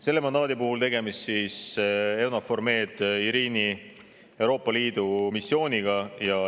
Selle mandaadi puhul on tegemist EUNAVFOR Med/Irini Euroopa Liidu missiooniga.